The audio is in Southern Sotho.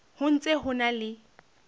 ho ntse ho na le